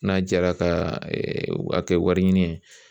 N'a jɛra ka kɛ wari ɲini ye